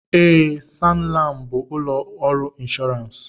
Ee, SanLam bụ ụlọ ọrụ inshọransị.